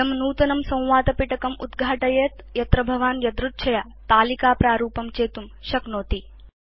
इदं नूतनं संवादपिटकम् उद्घाटयेत् यत्र भवान् यदृच्छया तालिकाप्रारूपं चेतुं शक्नोति